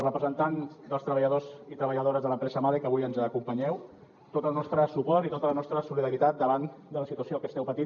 representants dels treballadors i treballadores de l’empresa mahle que avui ens acompanyeu tot el nostre suport i tota la nostra solidaritat davant de la situació que esteu patint